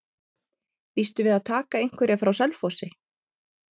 Býstu við að taka einhverja frá Selfossi?